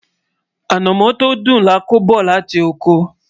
anamó tó dùn là kò bó láti okò